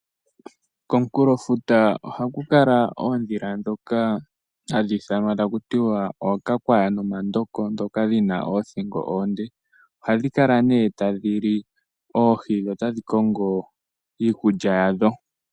Komukulofuta ohaku kala oondila dhoka hadhi ithanwa taku tiwa ookakwaya nomandoko dhoka dhina oothingo oonde, ohadhi kala ne tadhi li oohi dho tadhi kongo iikulya yadho.